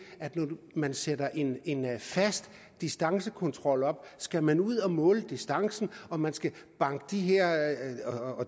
at når man sætter en fast distancekontrol op skal man ud at måle distancen og man skal banke